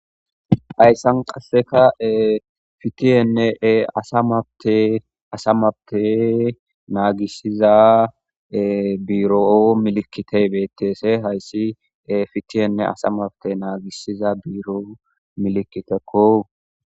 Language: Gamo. hayssan qasseka ee pitiyennee ee asa mabte asa mappete naagissiza biiroo milikitey betteese hayssi fitienne asa mabte naagisiza biiro milikitekko